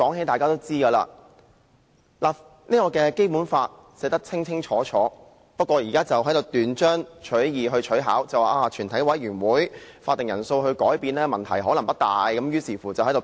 大家也知道《基本法》已有明確規定，而他們現在只是斷章取義，取巧地表示改變全體委員會的法定人數可能問題不大，繼而展開辯論。